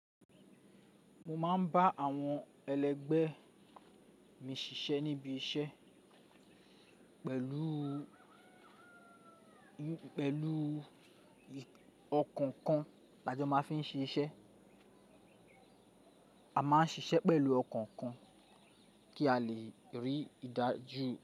Mo máa ń bá àwọn ẹlẹgbẹ́ mi ṣiṣẹ́ níbi iṣẹ́ pẹ̀lú ọkàn kan lájọ́ máa fi ṣe iṣẹ́. A máa ń ṣiṣẹ́ pẹ̀lú ọkàn kan kí a lè rí ìdájú.